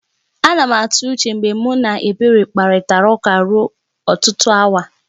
A na m atụ uche mgbe mụ na Ebere kparịtara ụka ruo ọtụtụ awa